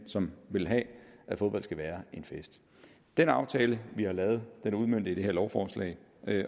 som vil have at fodbold skal være en fest den aftale vi har lavet er udmøntet i det her lovforslag